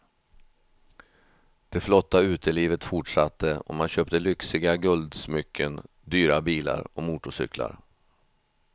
Det flotta utelivet fortsatte och man köpte lyxiga guldsmycken, dyra bilar och motorcyklar.